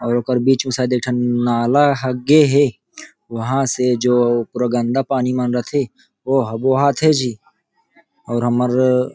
और एकर बीच में सायद एक ठन नाला ह गे हे वहा से जो पूरा गंदा पानी मन रथे हे ओ ह बोहा थे जी और हमर--